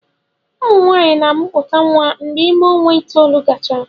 Ụmụ nwaanyị na-amụpụta nwa mgbe ime ọnwa itoolu gachara